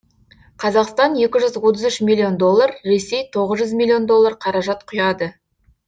қазақстан екі жүз отыз үш миллион доллар ресей тоғыз жүз миллион доллар қаражат құяды